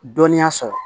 Dɔnniya sɔrɔ